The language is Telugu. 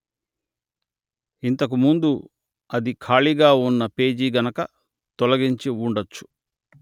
ఇంతకు ముందు అది ఖాళీగా ఉన్న పేజీ గనుక తొలగించి ఉండొచ్చు